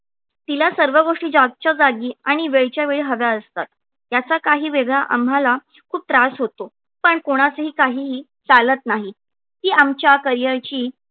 तिला सर्व गोष्टी जागच्या जागी आणि वेळच्या वेळी हव्या असतात त्याचा काही वेळा आम्हाला खूप त्रास होतो पण कोणाचेही काहीहि चालत नाही. ती आमच्या career ची